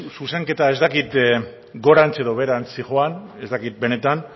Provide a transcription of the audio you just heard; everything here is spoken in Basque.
zuzenketa ez dakit gorantz edo beherantz zihoan ez dakit benetan